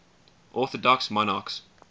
orthodox monarchs